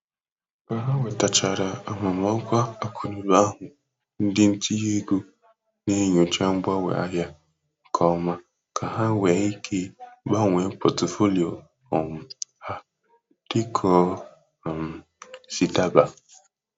Ka ha nwetechara amamọkwa akụnụụba ahụ ndị ntinye ego na-enyocha mgbanwe ahịa nke ọma ka ha nwee ike gbanwee pọtụfoliyo um ha dịka o um si daba.